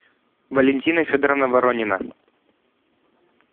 валентина федоровна воронина